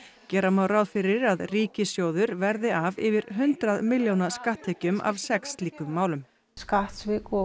gera má ráð fyrir að ríkissjóður verði af yfir hundrað milljóna skatttekjum af sex slíkum málum skattsvik og